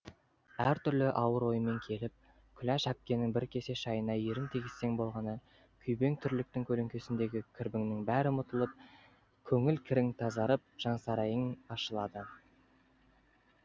әртүрлі ауыр оймен келіп күләш әпкенің бір кесе шайына ерін тигізсең болғаны күйбең тірліктің көлеңкесіндегі кірбіңнің бәрі ұмытылып көңіл кірің тазарып жансарайың ашылады